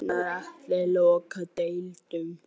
Gunnar Atli: Loka deildum?